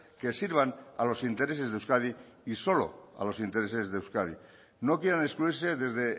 que sirvan a los intereses de euskadi y solo a los intereses de euskadi no quieran excluirse desde